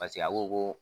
Paseke a ko ko